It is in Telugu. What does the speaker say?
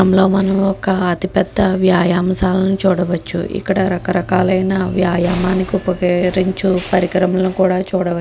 ఈ చిత్రం లొ మనం ఒక అతి పెద్ద వ్యాయామశాల చూడవావచ్చు. ఇక్కడ రకరకాల ఆయన వ్యాయామానికి ఉపయోగించు పరికరాలు కూడా చూడవచ్చు .